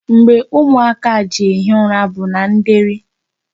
Mgbe ụmụaka a ji ehi ụra bụ na ndeeri.